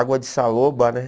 Água de saloba, né?